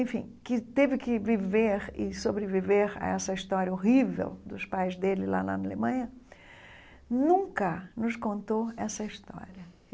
enfim, que teve que viver e sobreviver a essa história horrível dos pais dele lá na Alemanha, nunca nos contou essa história.